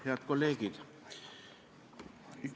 Head kolleegid!